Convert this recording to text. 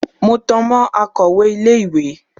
Mo tan mọ́ akọ̀wẹ́ ilé ìwé.